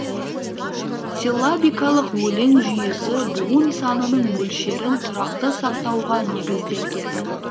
силлабикалық өлең жүйесі буын санының мөлшерін тұрақты сақтауға негізделген